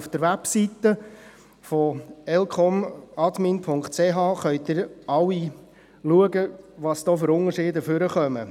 Auf der Website www.elcom.admin.ch können Sie alle nachsehen, welche Unterschiede zutage treten.